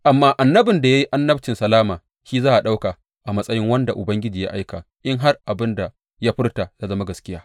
Amma annabin da ya yi annabcin salama shi za a ɗauka a matsayin wanda Ubangiji ya aika in har abin da ya furta ya zama gaskiya.